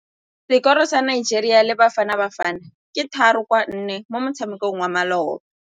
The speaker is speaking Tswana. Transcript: Sekôrô sa Nigeria le Bafanabafana ke 3-1 mo motshamekong wa malôba.